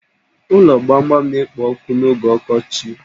Ụlo gbamgbam na-ekpo ọkụ n'oge ọkọchi